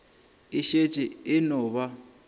e šetše e no ba